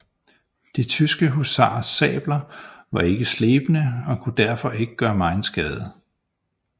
De tyske husarers sabler var ikke slebne og kunne derfor ikke gøre megen skade